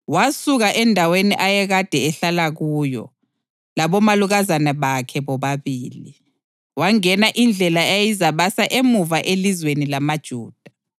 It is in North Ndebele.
Wasuka endaweni ayekade ehlala kuyo, labomalukazana bakhe bobabili, wangena indlela eyayizabasa emuva elizweni lamaJuda.